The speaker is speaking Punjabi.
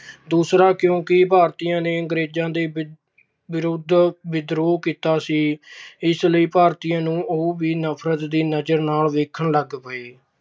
ਦੂਸਰਾ ਕਿਉਂਕਿ ਭਾਰਤੀਆਂ ਨੇ ਅੰਗਰੇਜਾਂ ਦੇ ਵਿਰੁੱਧ ਵਿਦਰੋਹ ਕੀਤਾ ਸੀ। ਇਸ ਲਈ ਉਹ ਵੀ ਭਾਰਤੀਆਂ ਨੂੰ ਨਫਰਤ ਦੀ ਨਜਰ ਨਾਲ ਦੇਖਣ ਲੱਗ ਪਏ।